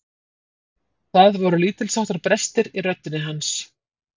Það voru lítilsháttar brestir í röddinni hans.